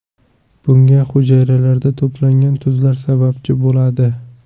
Bunga hujayralarda to‘plangan tuzlar sababchi bo‘ladi.